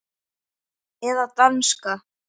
Eða danska.